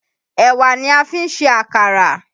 Èwà ni a fi ń ṣe àkàrà